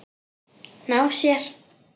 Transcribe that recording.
Ná sér?